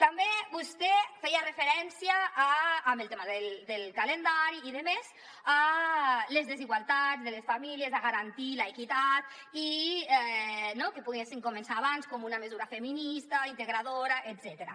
també vostè feia referència en el tema del calendari i demés a les desigualtats de les famílies a garantir l’equitat i que poguessin començar abans com una mesura feminista integradora etcètera